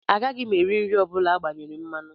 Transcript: Agaghị m eri nri ọ bụla agbanyere mmanụ